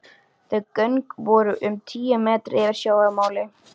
Þau göng voru um tíu metra yfir sjávarmáli.